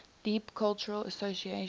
deep cultural association